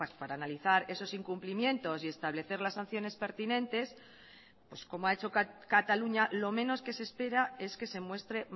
para analizar esos incumplimientos y establecer las sanciones pertinentes pues como ha hecho cataluña lo menos que se espera es que se muestre